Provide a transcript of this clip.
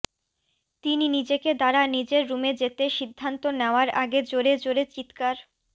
তিনি নিজেকে দ্বারা নিজের রুমে যেতে সিদ্ধান্ত নেওয়ার আগে জোরে জোরে চিৎকার